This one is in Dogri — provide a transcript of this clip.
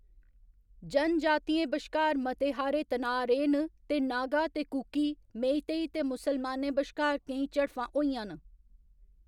जनजातियें बश्कार मते हारे तनाऽ रेह् न ते नागा ते कुकी, मेइतेई ते मुसलमानें बश्कार केईं झड़फां होइयां न।